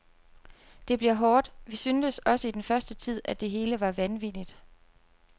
Det bliver hårdt, vi syntes også i den første tid, at det hele var vanvittigt.